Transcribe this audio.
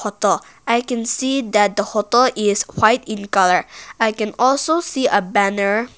i can see that the hoto is white in colour i can also see a banner --